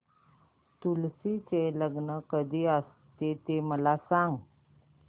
तुळशी चे लग्न कधी असते ते मला सांग